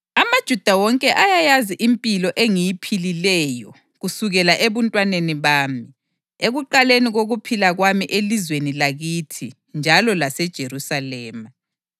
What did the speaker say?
AmaJuda wonke ayayazi impilo engiyiphilileyo kusukela ebuntwaneni bami, ekuqaleni kokuphila kwami elizweni lakithi njalo laseJerusalema.